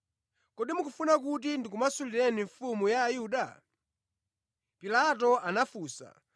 “Kodi mukufuna kuti ndikumasulireni mfumu ya Ayuda?” Pilato anafunsa,